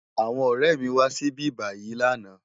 Awòn òrè mi wá sibibáyi làná